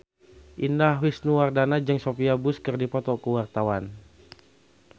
Indah Wisnuwardana jeung Sophia Bush keur dipoto ku wartawan